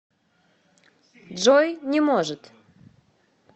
джой не может